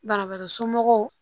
Banabagatɔ somɔgɔw